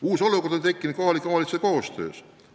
Uus olukord on tekkinud kohalike omavalitsuste koostöös.